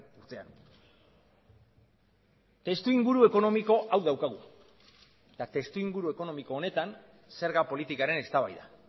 urtean testu inguru ekonomiko hau daukagu eta testu inguru ekonomiko honetan zerga politikaren eztabaida